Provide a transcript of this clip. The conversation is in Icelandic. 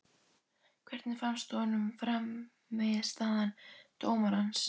Hvernig fannst honum frammistaða dómarans?